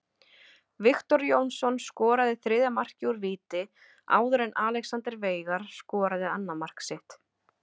Viktor Jónsson skoraði þriðja markið úr víti áður en Alexander Veigar skoraði annað mark sitt.